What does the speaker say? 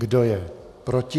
Kdo je proti?